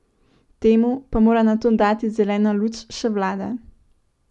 Temu pa mora nato dati zeleno luč še vlada.